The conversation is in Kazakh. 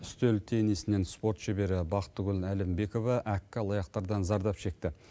үстел тенисінен спорт шебері бақтыгүл әлімбекова әккі алаяқтардан зардап шекті